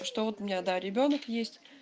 что вот у меня да ребёнок есть